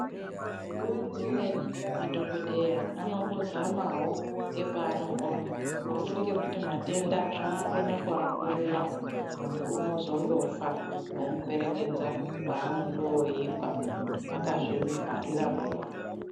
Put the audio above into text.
Nguwa dzimweni madhokodheya anombozamawo ngepaanokona asi ngekuti matenda anokone kuakurira, muntu unozondofa ,vomuperekedza kwaanondoyikwa vakazvivharira miromo.